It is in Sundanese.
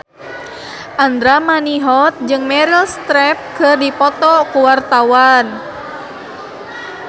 Andra Manihot jeung Meryl Streep keur dipoto ku wartawan